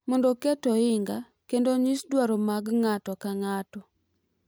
Mondo oket ohinga kendo onyis dwaro mag ng’ato ka ng’ato